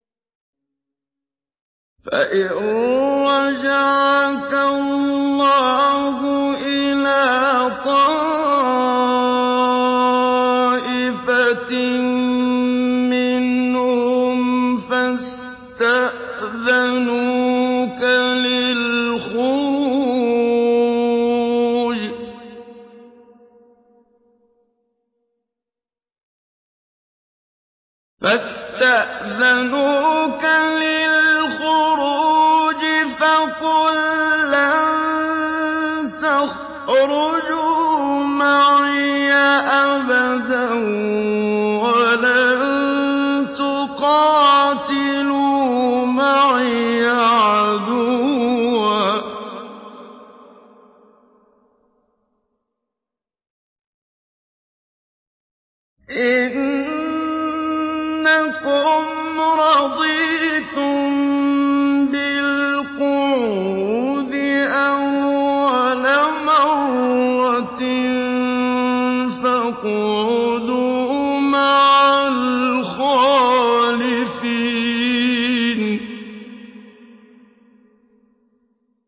فَإِن رَّجَعَكَ اللَّهُ إِلَىٰ طَائِفَةٍ مِّنْهُمْ فَاسْتَأْذَنُوكَ لِلْخُرُوجِ فَقُل لَّن تَخْرُجُوا مَعِيَ أَبَدًا وَلَن تُقَاتِلُوا مَعِيَ عَدُوًّا ۖ إِنَّكُمْ رَضِيتُم بِالْقُعُودِ أَوَّلَ مَرَّةٍ فَاقْعُدُوا مَعَ الْخَالِفِينَ